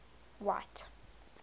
white